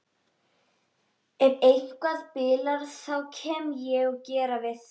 Ef eitthvað bilar þá kem ég og geri við það.